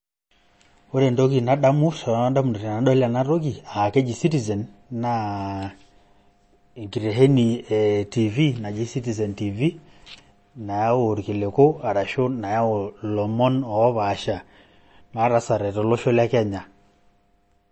Ore entoki nadamu toondamunot tenadol ena toki aa keji citizen naa enkitesheni e tv naji citizen tv nayau irkiliku ashu nayau ilomon oopaasha ootaasate tolosho le Kenya .